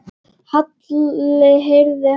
Halli heyrði hana líka.